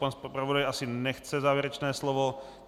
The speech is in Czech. Pan zpravodaj asi nechce závěrečné slovo.